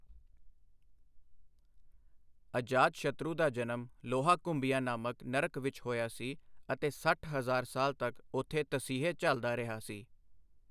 ਅਜਾਤਸ਼ਤਰੂ ਦਾ ਜਨਮ 'ਲੋਹਾਕੁੰਭੀਆ' ਨਾਂਮਕ ਨਰਕ ਵਿੱਚ ਹੋਇਆ ਸੀ ਅਤੇ ਸੱਠ ਹਜ਼ਾਰ ਸਾਲ ਤੱਕ ਉੱਥੇ ਤਸੀਹੇ ਝੱਲਦਾ ਰਿਹਾ ਸੀ।